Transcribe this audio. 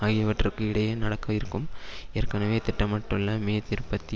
ஆகியவற்றிற்கு இடையே நடக்க இருக்கும் ஏற்கனவே திட்டமிட பட்டுள்ள மே இருபத்தி